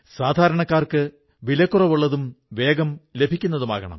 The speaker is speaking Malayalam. സാധാരണക്കാർക്ക് വിലക്കുറവുള്ളതും വേഗം ലഭിക്കുന്നതുമാകണം